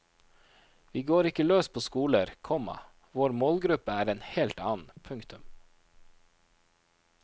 Vi går ikke løs på skoler, komma vår målgruppe er en helt annen. punktum